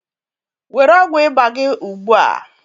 were ọgwụ ịba gị ugbu a